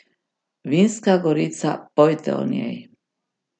Vinska gorica, pojte o njej!